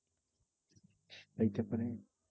হইতে পারে।